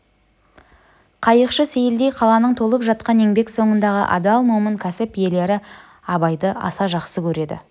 қайықшы сейілдей қаланың толып жатқан еңбек соңындағы адал момын кәсіп иелері абайды аса жақсы көреді